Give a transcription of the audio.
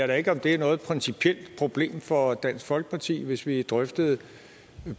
da ikke om det er et principielt problem for dansk folkeparti hvis vi drøftede